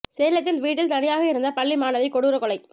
சேலத்தில் வீட்டில் தனியாக இருந்த பள்ளி மாணவி கொடூர கொலை